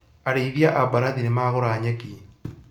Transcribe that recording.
Arĩithia a mbarathi nimagũra nyeki